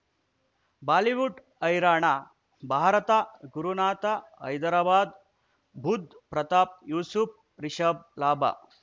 Bollywood ಹೈರಾಣ ಭಾರತ ಗುರುನಾಥ ಹೈದರಾಬಾದ್ ಬುಧ್ ಪ್ರತಾಪ್ ಯೂಸುಫ್ ರಿಷಬ್ ಲಾಭ